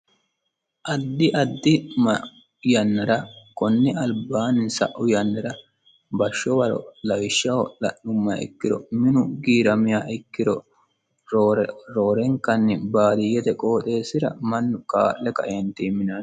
addi addi mau yannara konne albaanni sa'u yannara bashsho waro lawishshaho la'nummaha ikkiro minu giiramiya ikkiro roorenkanni baadiyyete qooxeessira mannu kaa'le kaeentinni minanno.